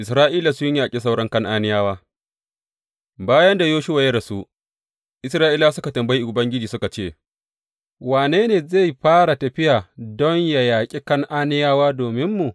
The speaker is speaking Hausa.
Isra’ila sun yaƙi sauran Kan’aniyawa Bayan da Yoshuwa ya rasu, Isra’ilawa suka tambayi Ubangiji suka ce, Wane ne zai fara tafiya don yă yaƙi Kan’aniyawa dominmu?